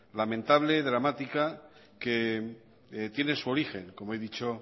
lamentable y dramática que tiene su origen como he dicho